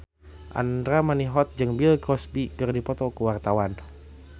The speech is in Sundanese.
Andra Manihot jeung Bill Cosby keur dipoto ku wartawan